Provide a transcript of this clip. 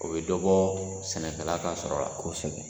U bɛ dɔbɔ sɛnɛkala ka sɔrɔ, kosɛbɛ